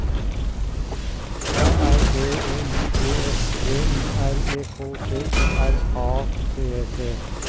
A R B E I D S D I R E K T O R A T E T